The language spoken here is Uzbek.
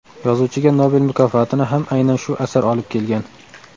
Yozuvchiga Nobel mukofotini ham aynan shu asar olib kelgan.